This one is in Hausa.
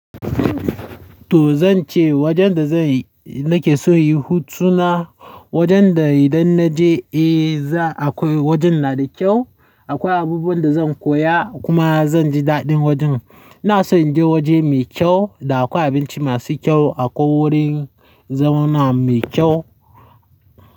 To zan ce wajen da zai-- nake so in yi hutu na, wajen da idan na je, eh, za akwai wajen na da kyau. Akwai abubuwan da zan koya kuma zan ji daɗin wajen. Na so in je waje mai kyau da akwai abinci masu kyau, akwai wurin zauna mai kyau.